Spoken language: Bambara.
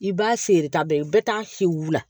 I b'a sere ta bɛɛ ye bɛɛ t'a si wili